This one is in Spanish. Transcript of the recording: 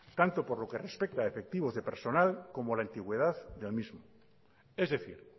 tanto por lo que respeta efectivos de personal como la antigüedad del mismo es decir